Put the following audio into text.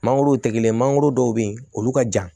Mangoro tigɛ mangoro dɔw bɛ yen olu ka jan